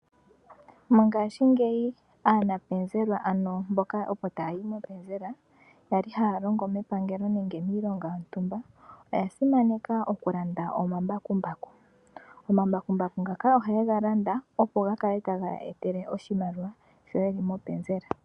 Mongashingeyi aanapenzela,a no mboka taya yi mopenzela ya li haya longo mepangelo nenge miilonga yontumba oya simaneka okulanda omambakumbaku. Omambakumbaku ngaka ohaye ga landa, opo ga kale tage ya etele oshimaliwa sho ye li mopenzela.